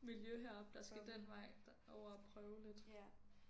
miljø heroppe der skal den vej over og prøve lidt